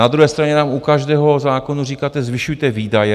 Na druhé straně nám u každého zákonu říkáte: Zvyšujte výdaje.